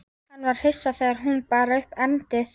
Hann var hissa þegar hún bar upp erindið.